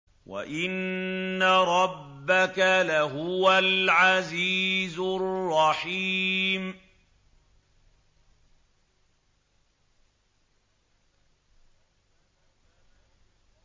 وَإِنَّ رَبَّكَ لَهُوَ الْعَزِيزُ الرَّحِيمُ